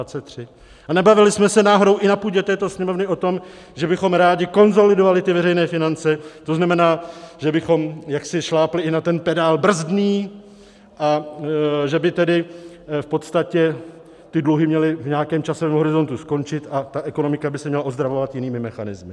A nebavili jsme se náhodou i na půdě této Sněmovny o tom, že bychom rádi konsolidovali ty veřejné finance, to znamená, že bychom jaksi šlápli i na ten pedál brzdný a že by tedy v podstatě ty dluhy měly v nějakém čase v horizontu skončit a ta ekonomika by se měla ozdravovat jinými mechanismy?